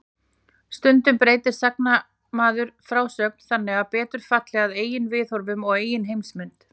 Stundum breytir sagnamaður frásögn þannig að betur falli að eigin viðhorfum og eigin heimsmynd.